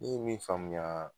Ne ye min faamuya